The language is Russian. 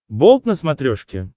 болт на смотрешке